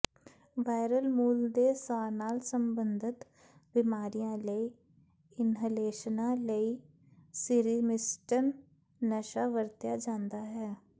viral ਮੂਲ ਦੇ ਸਾਹ ਨਾਲ ਸੰਬੰਧਤ ਬਿਮਾਰੀਆਂ ਲਈ ਇਨਹਲੇਸ਼ਨਾਂ ਲਈ ਮੀਰਿਮਿਸਟਨ ਨਸ਼ਾ ਵਰਤਿਆ ਜਾਂਦਾ ਹੈ